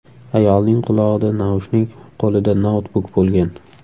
Ayolning qulog‘ida naushnik, qo‘lida noutbuk bo‘lgan.